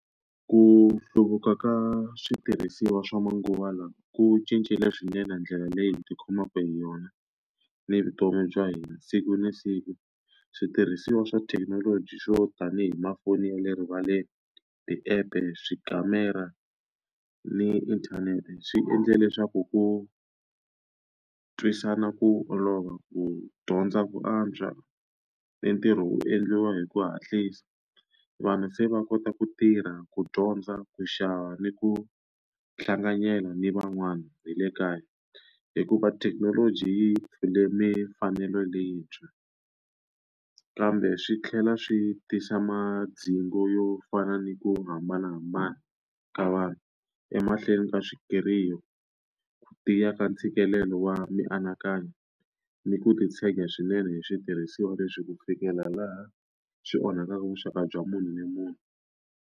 Ku hluvuka ka switirhisiwa swa manguva lawa ku cincile swinene ndlela leyi hi ti khomaka hi yona, ni vutomi bya hina siku na siku. Switirhisiwa swa thekinoloji swo tanihi tifoni ya le rivaleni, ti-app-e, tikamera ni inthanete swi endle leswaku ku twisisana hi ku olova, ku dyondza ku antswa, ni ntirho wu endliwa hi ku hatlisa. Vanhu se va kota ku tirha, ku dyondza, ku xava, ni ku hlanganyela ni van'wana hi le kaya hikuva thekinoloji yi pfule mfanelo leyintshwa. Kambe swi tlhela swi tisa madzhingo yo fana ni ku hambanahambana ka vanhu emahlweni ka ku tiya ka ntshikelelo wa mianakanyo, ni ku titshega swinene hi switirhisiwa leswi ku fikela laha swi onhakaka vuxaka bya munhu ni munhu.